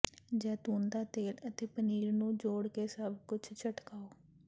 ਜੈਤੂਨ ਦਾ ਤੇਲ ਅਤੇ ਪਨੀਰ ਨੂੰ ਜੋੜ ਕੇ ਸਭ ਕੁਝ ਝਟਕਾਓ